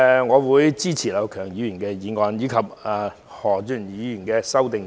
我會支持劉業強議員的議案及何俊賢議員的修正案。